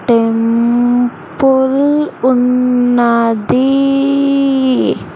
Temple ఉన్నది.